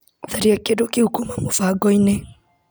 Tharia kĩndũ kĩu kuma mũbango-inĩ .